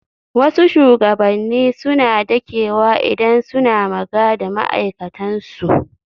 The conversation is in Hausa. Wasu shugabanni suna dakewa idan suna maga da ma'aikatan su.